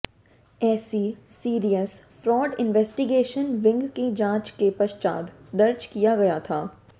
इसे serious fraud investigation wing की जाँच के पश्चात दर्ज किया गया था